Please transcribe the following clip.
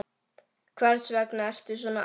Hvers vegna ertu svona æst?